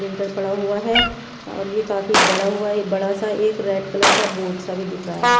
Lintel पड़ा हुआ है और ये काफी बड़ा हुआ है ये बड़ा सा एक रेड कलर का बोट सा भी दिख रहा है।